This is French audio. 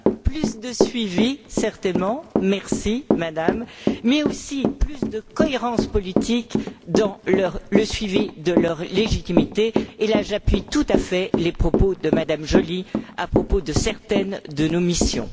moyens, plus de suivi, certainement merci Madame mais aussi plus de cohérence politique dans le suivi de leur légitimité et là, j'appuie tout à fait les propos de M me Joly à propos de certaines de nos missions.